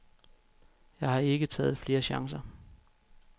Jeg har ikke taget flere chancer.